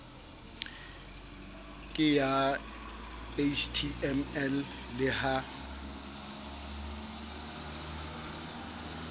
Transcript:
ke ya html le ha